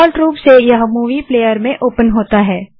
default रूप से यह मूवी प्लेयर में ओपन होता है